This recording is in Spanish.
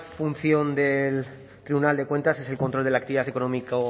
función del tribunal de cuentas es el control de la actividad económico